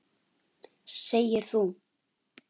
Segir þú.